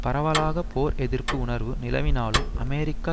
பரவலாக போர் எதிர்ப்பு உணர்வு நிலவினாலும் அமெரிக்கா